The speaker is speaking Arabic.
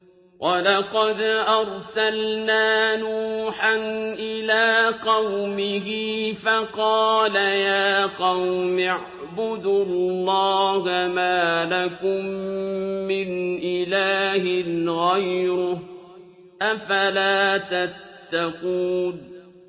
وَلَقَدْ أَرْسَلْنَا نُوحًا إِلَىٰ قَوْمِهِ فَقَالَ يَا قَوْمِ اعْبُدُوا اللَّهَ مَا لَكُم مِّنْ إِلَٰهٍ غَيْرُهُ ۖ أَفَلَا تَتَّقُونَ